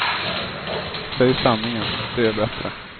Säg sanningen, det är bättre.